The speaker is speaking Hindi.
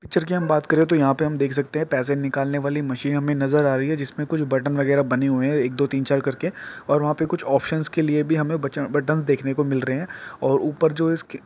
पिक्चर की हम बात करे तो यह पे हम देख सकते हैं पैसे निकालने वाली मशीन हमें नजर आ रही है जिसमें कुछ बटन वगैरा बने हुए हैं एक दो तीन चार करके और वहां पे कुछ ऑप्शनस् के लिए भी हमें बचन बटन देखने को मिल रहे हैं और ऊपर जो इस खे --